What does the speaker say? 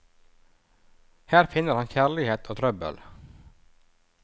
Her finner han kjærlighet og trøbbel.